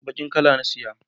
bakin kala na saya